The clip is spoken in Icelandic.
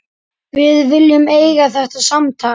Við viljum eiga þetta samtal.